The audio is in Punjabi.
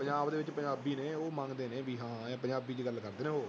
ਪੰਜਾਬ ਦੇ ਵਿੱਚ ਪੰਜਾਬੀ ਨੇ ਉਹ ਮੰਗਦੇ ਨੇ ਵੀ ਹਾਂ ਪੰਜਾਬੀ ਚ ਗੱਲ ਕਰਦੇੇ ਨੇ ਉਹ